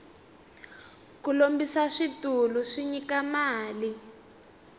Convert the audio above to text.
ku lombisa switulu swi nyika mali